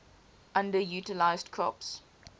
underutilized crops